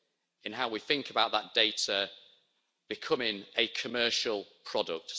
in how we think about that data becoming a commercial product.